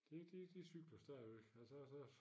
Det det de cykler stadigvæk og så så